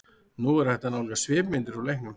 Nú er hægt að nálgast svipmyndir úr leiknum.